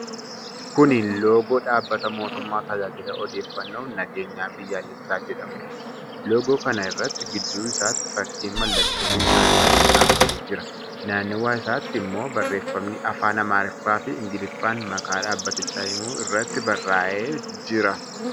Kuni loogoo dhaabbata mootummaa Tajaajila Odeeffannoof Nageenya Biyyaalessaa jedhamuuti. Loogoo kana irratti gidduu isaatti fakkiin mallattoo risaa irratti kaafamee jira. Nannawa isaatti ammoo barreefamni afaaan Amaariffaa fi Ingiliffaan maqaa dhaabatichaa himu irratti barraa'ee jira.